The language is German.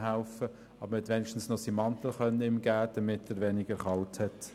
Aber immerhin konnte man ihm noch seinen Mantel geben, damit er weniger kalt hat.